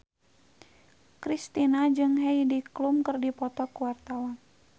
Kristina jeung Heidi Klum keur dipoto ku wartawan